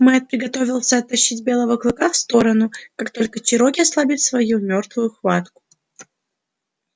мэтт приготовился оттащить белого клыка в сторону как только чероки ослабит свою мёртвую хватку